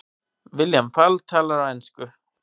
William Fall talar á ensku.